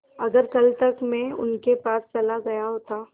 अगर कल तक में उनके पास चला गया होता